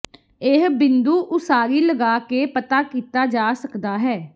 ਇਹ ਬਿੰਦੂ ਉਸਾਰੀ ਲਗਾ ਕਰਕੇ ਪਤਾ ਕੀਤਾ ਜਾ ਸਕਦਾ ਹੈ